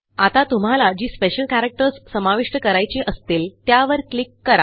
आता तुम्हाला जी स्पेशल कॅरेक्टर्स समाविष्ट करायची असतील त्यावर क्लिक करा